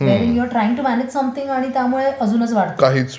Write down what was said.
म्हणजे you are trying to manage something आणि त्यामुळे अजूनच वाढतं